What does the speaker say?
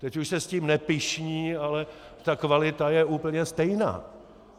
Teď už se s tím nepyšní, ale ta kvalita je úplně stejná.